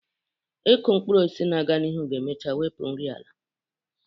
Ịkụ mkpụrụ osisi na-aga n'ihu ga-emecha wepụ nri ala